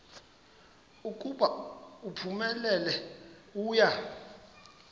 ukuba uphumelele uya